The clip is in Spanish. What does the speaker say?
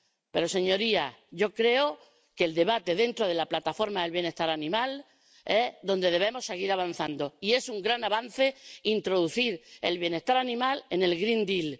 Pero, señorías, yo creo que es en el debate dentro de la plataforma del bienestar animal donde debemos seguir avanzando, y es un gran avance introducir el bienestar animal en el green deal